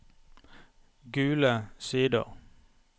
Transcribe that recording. Gule Sider